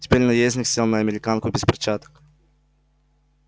теперь наездник сел на американку без перчаток